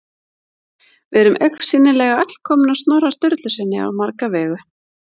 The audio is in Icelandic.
Við erum augsýnilega öll komin af Snorra Sturlusyni á marga vegu.